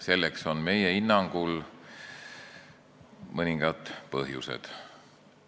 Sellel on meie hinnangul mõningaid põhjuseid.